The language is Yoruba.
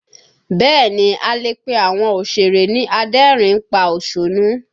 Bẹ́ẹ̀ ni, a lè pe àwọn òsèré ni adẹ́rìn ín pa òṣónú